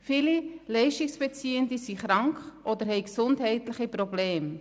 Viele Leistungsbeziehende sind krank oder sie haben gesundheitliche Probleme.